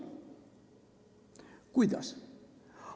Kuidas?